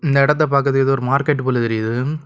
இந்த இடத்தை பாக்குறதுக்கு ஏதோ மார்க்கெட் போல தெரியுது.